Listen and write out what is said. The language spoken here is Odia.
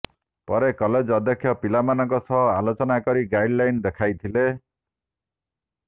ପରେ କଲେଜ ଅଧ୍ୟକ୍ଷ ପିଲାମାନଙ୍କ ସହ ଆଲୋଚନ କରି ଗାଇଡ଼ଲାଇନ ଦେଖାଇଥିଲେ